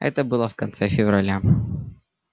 это было в конце февраля